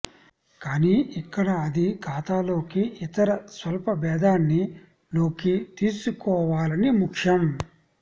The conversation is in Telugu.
కానీ ఇక్కడ అది ఖాతాలోకి ఇతర స్వల్పభేదాన్ని లోకి తీసుకోవాలని ముఖ్యం